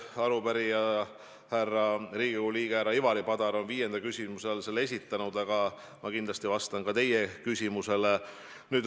Arupärija, Riigikogu liige härra Ivari Padar on viienda küsimusena selle registreerinud, aga ma vastan ka teie küsimusele.